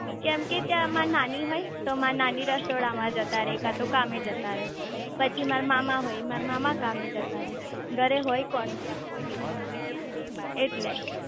કેમ કે ત્યાં માર નાની હોય તો માર નાની રસોડા માં જતા રે કાટો કામે જતા રે પછી મારા મામા હોય મારા મામા કામે જતા રે ઘરે હોય કોણ એટલે